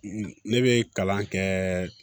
Ne bɛ kalan kɛ